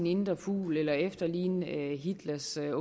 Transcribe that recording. indre fugl eller efterligne hitlers eller